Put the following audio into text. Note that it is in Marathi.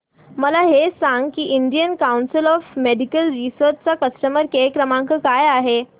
मला हे सांग की Indian council of medical research चा कस्टमर केअर क्रमांक काय आहे